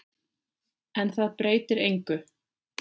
En það breytir engu.